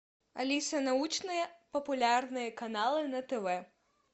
алиса научные популярные каналы на тв